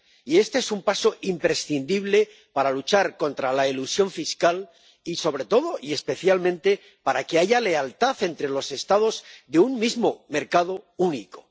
Y este es un paso imprescindible para luchar contra la elusión fiscal y, sobre todo y especialmente, para que haya lealtad entre los Estados de un mismo mercado único.